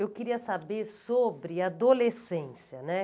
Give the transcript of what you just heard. Eu queria saber sobre adolescência, né?